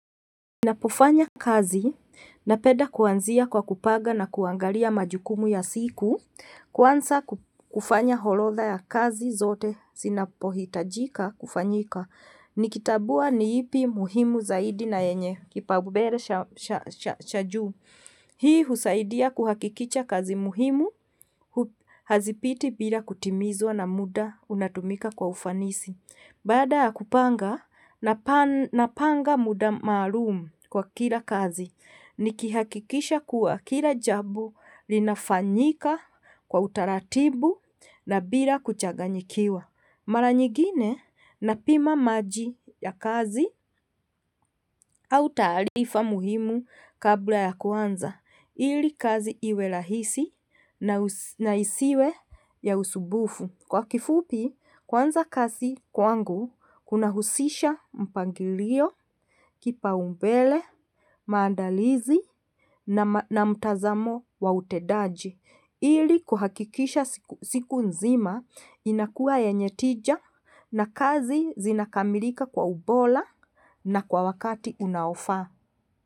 Ninapofanya kazi, napeda kuanzia kwa kupanga na kuangaria majukumu ya siku, kwanza kufanya holodha ya kazi zote, sinapo hitajika kufanyika. Nikitabua ni ipi muhimu zaidi na yenye, kipaubere cha juu. Hii husaidia kuhakikicha kazi muhimu, hazipiti bila kutimizwa na muda, unatumika kwa ufanisi. Baada kupanga, napanga muda maalum kwa kila kazi. Nikihakikisha kua kila jabo linafanyika kwa utaratibu na bila kuchaganyikiwa. Mala nyigine napima maji ya kazi, au taalifa muhimu kabla ya kuanza. Ili kazi iwe lahisi na isiwe ya usubufu. Kwa kifupi, kwanza kazi kuangu, kuna husisha mpangilio, kipaumbele, maadalizi na mtazamo wa utedaji. Ili kuhakikisha siku nzima, inakuwa yenye tija na kazi zina kamilika kwa ubola na kwa wakati unaofaa.